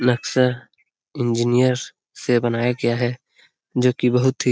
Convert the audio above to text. नक्शा इंजीनियर से बनाया गया है जो की --